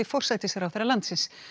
forsætisráðherra landsins